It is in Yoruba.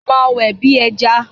Mo máa wẹ̀ bí ẹjà.